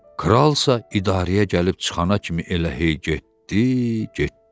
Kral isə idarəyə gəlib çıxana kimi elə hey getdi, getdi.